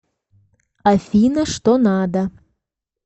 афина что надо